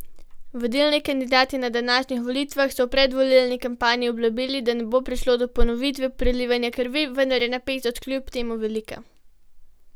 Vodilni kandidati na današnjih volitvah so v predvolilni kampanji obljubili, da ne bo prišlo do ponovitve prelivanja krvi, vendar je napetost kljub temu velika.